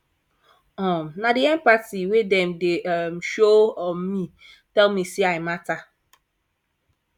um na di empathy wey dem dey um show um me tell me sey i mata